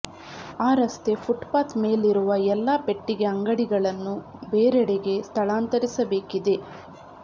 ಆ ರಸ್ತೆ ಫುಟ್ಪಾತ್ ಮೇಲಿರುವ ಎಲ್ಲ ಪೆಟ್ಟಿಗೆ ಅಂಗಡಿಗಳನ್ನು ಬೇರೆಡೆಗೆ ಸ್ಥಳಾಂತರಿಸಬೇಕಿದೆ